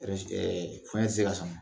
ɛɛ fɛn tɛ se ka san